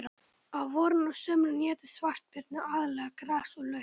Á vorin og sumrin éta svartbirnir aðallega gras og lauf.